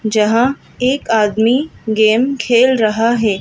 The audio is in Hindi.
जहां एक आदमी गेम खेल रहा है।